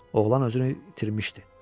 Oğlan özünü itirmişdi.